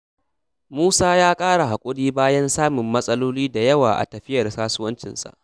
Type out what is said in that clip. Musa ya ƙara haƙuri bayan samun matsaloli da yawa a tafiyar kasuwancinsa.